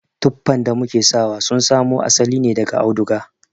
Tuffan da muke sawa sun samo asali ne daga auduga.